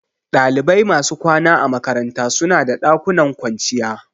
Dalibai masu kwana a makaranta suna da ɗakunan kwanciya